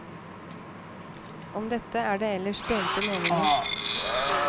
Om dette er det ellers delte meninger.